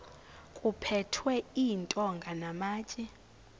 kuphethwe iintonga namatye